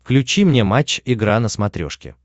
включи мне матч игра на смотрешке